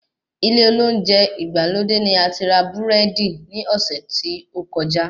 Ilé olóúnjẹ ìgbàlódé ní ati rà búrẹ́dí ní ọ́sẹ́ ti ókọjá